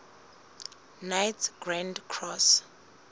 knights grand cross